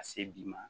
Ka se bi ma